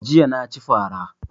Jiya na ci fara